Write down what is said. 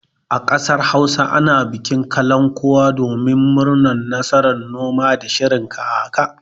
A ƙasar Hausa ana bikin kalankuwa domin murnar nasarar noma da shirin kaka.